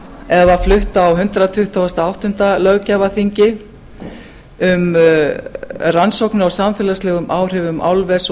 eða flutt á hundrað tuttugasta og áttunda löggjafarþingi um rannsóknir á sambærilegum áhrifum álvers og